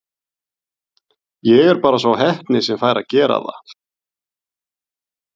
Ég er bara sá heppni sem fær að gera það.